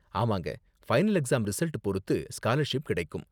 ஆமாங்க, final exam result பொறுத்து scholarship கிடைக்கும்.